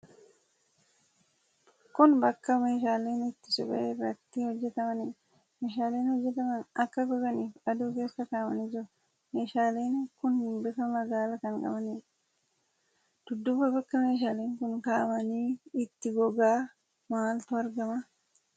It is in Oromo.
Kun bakka meeshaaleen itti suphee irraa itti hojjatamaniidha. Meeshaaleen hojjatamanii akka goganiif aduu keessa kaa'amanii jiru. Meeshaaleen kun bifa magaala kan qabaniidha. Dudduuba bakka meeshaaleen kun kaa'amanii itti gogaa maaltu argama?